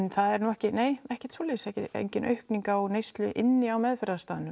það er nú ekkert ekkert svoleiðis engin aukning á neyslu inni á